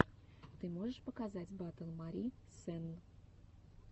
ты можешь показать батл мари сенн